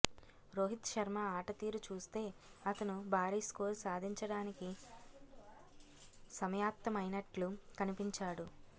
రోహిత్ శర్మ ఆటతీరు చూస్తే అతను భారీ స్కోరు సాధించడానికి సమాయత్తమైనట్లు కనిపించాడు